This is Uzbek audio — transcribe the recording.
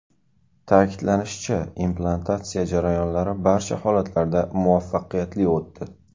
Ta’kidlanishicha, implantatsiya jarayonlari barcha holatlarda muvaffaqiyatli o‘tdi.